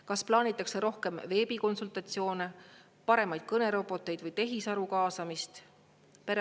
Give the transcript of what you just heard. Kas plaanitakse rohkem veebikonsultatsioone, paremaid kõneroboteid või tehisaru kaasamist?